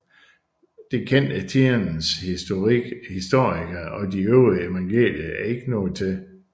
Det kendte tidens historikere og de øvrige evangelier ikke noget til